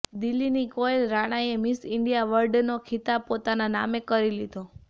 દિલ્હીની કોયલ રાણાએ miss India વર્લ્ડનો ખિતાબ પોતાના નામે કરી લીધો